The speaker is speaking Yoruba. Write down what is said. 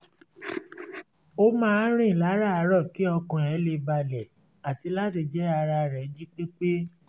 ó máa ń rìn láràárọ̀ kí ọkàn ẹ̀ lè balẹ̀ àti láti jẹ́ ara rẹ̀ jí pé pé